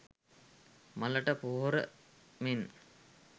මලට පොහොර මෙන්